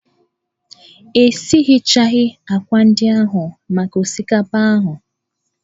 E sighechaghị ákwà ndị ahụ maka osikapa ahụ.